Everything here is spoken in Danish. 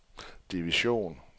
division